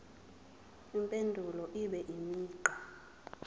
impendulo ibe imigqa